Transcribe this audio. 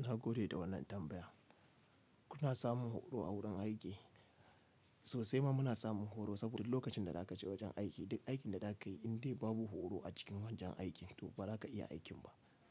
Na gode da wannan tambaya. Kuna samun horo a wurin aiki? Sosai ma muna samun horo saboda lokacin da za ka je wajen aiki duk aikin da za ka yi in dai babu horo a cikin wajen aiki to ba za ka iya aikin ba.